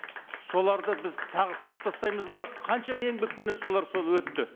соларды біз тағы сызып тастаймыз ба қаншама еңбекпенен солар сол өтті